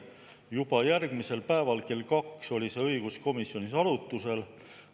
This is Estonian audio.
Juba järgmisel päeval kell kaks oli see õiguskomisjonis arutlusel.